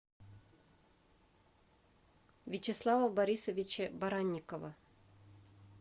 вячеслава борисовича баранникова